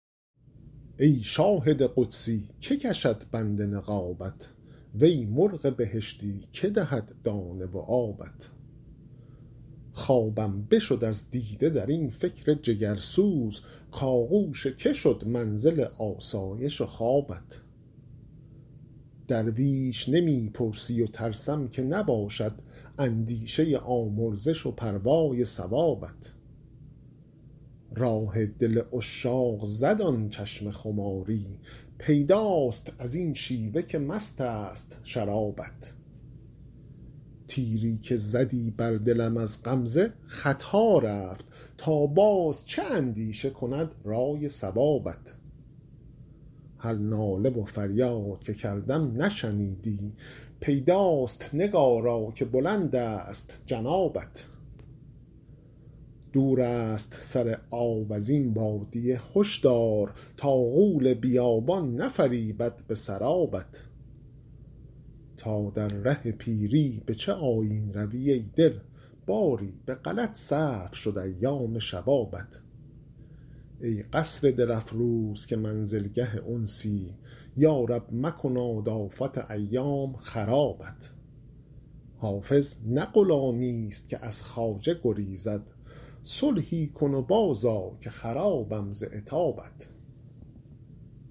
ای شاهد قدسی که کشد بند نقابت وی مرغ بهشتی که دهد دانه و آبت خوابم بشد از دیده در این فکر جگرسوز کآغوش که شد منزل آسایش و خوابت درویش نمی پرسی و ترسم که نباشد اندیشه آمرزش و پروای ثوابت راه دل عشاق زد آن چشم خماری پیداست از این شیوه که مست است شرابت تیری که زدی بر دلم از غمزه خطا رفت تا باز چه اندیشه کند رأی صوابت هر ناله و فریاد که کردم نشنیدی پیداست نگارا که بلند است جنابت دور است سر آب از این بادیه هشدار تا غول بیابان نفریبد به سرابت تا در ره پیری به چه آیین روی ای دل باری به غلط صرف شد ایام شبابت ای قصر دل افروز که منزلگه انسی یا رب مکناد آفت ایام خرابت حافظ نه غلامیست که از خواجه گریزد صلحی کن و بازآ که خرابم ز عتابت